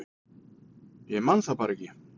Ég man það bara ekki